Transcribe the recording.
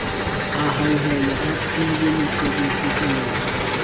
a hauhelwe a fuwemosebetsi o